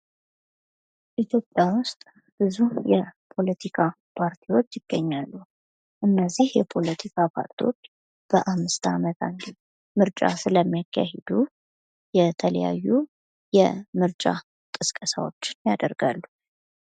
ኢትዮጵያ ውስጥ ብዙ የፖለቲካ ፓርቲዎች ይገኛሉ እነዚህ የፖለቲካ ፓርቲዎች በአምስት አመታት ምርጫ ስለሚያካሂዱ የተለያዩ የምርጫ ቅስቀሳዎችን ያደርጋሉ